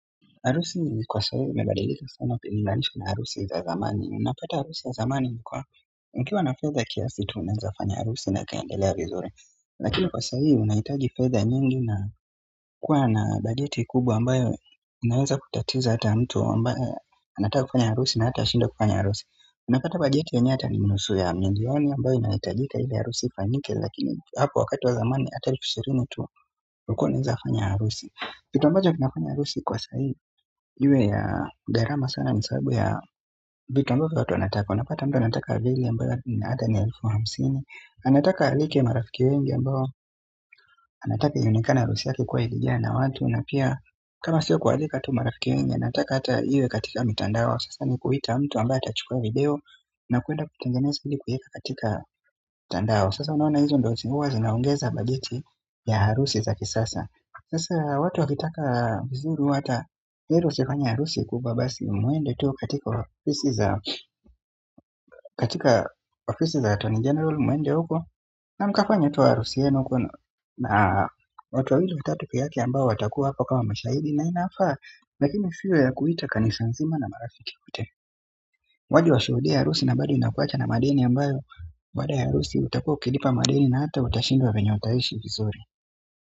Harusi kwa sahii imebadaliza sana kulinganisha na harusi za zamani. Unapata harusi za zamani kuwa. Mkiwa na fedha kiasi tu unaweza fanya harusi na kiendele vizuri. Lakini kwa sahii unahitaji fedha nyingi na kuwa na bageti kubwa ambayo inaweza kutatiza hata mtu ambayo anataka kufanya harusi na hatashindwa kufanya harusi. Unapata bajeti yenyewe hata ni nusu ya milioni ambayo inahitajika ili harusi ifanyike lakini hapo wakati wa zamani ata elfu ishirini tu ulikuwa unaweza kufanya harusi. Kitu ambacho kinafanya harusi kwa sahii iwe ya gharama sana ni sababu ya vitu ambavyo watu wanataka. Unapata mtu anataka vile ambayo ni elfu hamsini anataka alike marafiki wengi ambao anataka ionekane harusi yake kuwa ilijaa na watu na pia kama sio kualika tu marafiki wengi anataka hata iwe katika mitandao sasa ni kuita mtu ambaye atachukua video na kwenda kutengeneza ili kuweka katika mtandao sasa unaona hizo ndo huwa zinaongeza bajeti ya harusi za kisasa sasa watu wakitaka vizuri hata heri usifanye harusi kubwa basi mwende tu katika ofisi za attorney general mwende huko na mkafanye tu harusi yenu uko na watu wawili watatu pekee yake ambao watakuwa hapa kama mshahidi na inafaa lakini isiwe ya kuita kanisa nzima na marafiki wote waje washuhudie harusi na bado inakuacha na madeni ambayo baada ya harusi utakuwa ukilipa madeni na hata utashindwa venye utaishi vizuri.